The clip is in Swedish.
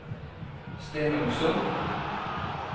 Stenungsund